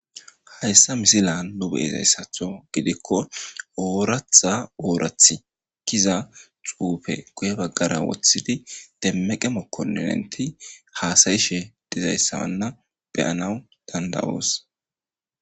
hayssa misilan nu be7izayssatho gidikko ooratha oorathi kiza xuufe guye baggara wothidi demmeqe mokkoinenti haasayishe dizayssawanna beyanaw danda7oos